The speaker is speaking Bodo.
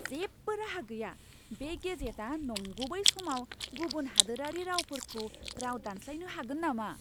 जेबो राहा गैया! बे गेजेटआ नंगुबै समाव गुबुन हादोरारि रावफोरखौ राव दानस्लायनो हागोन नामा?